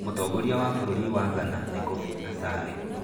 Mũtongoria wa bũrũri wa Ghana nĩ Kofi Asare.